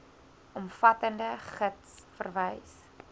omvattende gids verwys